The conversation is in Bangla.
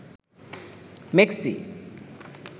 মেক্সি